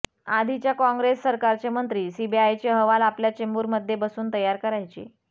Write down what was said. आधीच्या कॉंगे्रस सरकारचे मंत्री सीबीआयचे अहवाल आपल्या चेंबरमध्ये बसून तयार करायचे